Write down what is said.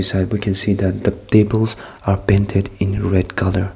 there we can see that the tables are painted in red colour.